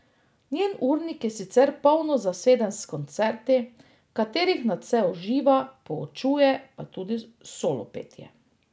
Njen urnik je sicer polno zaseden s koncerti, v katerih nadvse uživa, poučuje pa tudi solopetje.